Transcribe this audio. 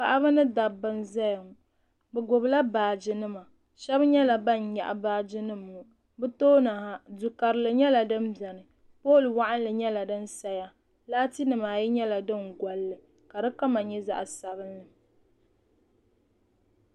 Paɣaba ni dabba n zaya ŋɔ bi gbubi la baaji nima shɛba nyɛla ban nyaɣi baaji nima ŋɔ bi tooni ha duu karili nyɛla din bɛni pooli waɣinli nyɛla din saya laati nima ayi nyɛla din gɔlli ka di kama nyɛ zaɣa sabinli.